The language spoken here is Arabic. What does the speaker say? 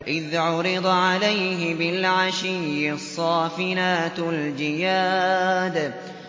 إِذْ عُرِضَ عَلَيْهِ بِالْعَشِيِّ الصَّافِنَاتُ الْجِيَادُ